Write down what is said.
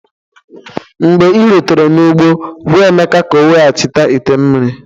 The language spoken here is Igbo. Mgbe i rutere n'ugbo gwa Emeka ka o weghachite ite mmiri